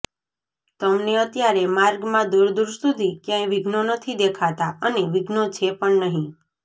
તમને અત્યારે માર્ગમાં દૂર દૂર સુધી ક્યાંય વિઘ્નો નથી દેખાતાં અને વિઘ્નો છે પણ નહીં